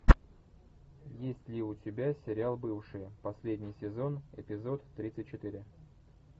есть ли у тебя сериал бывшие последний сезон эпизод тридцать четыре